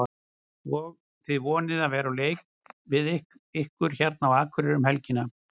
Og þið vonið að veðrið leiki við ykkur hérna á Akureyri um helgina?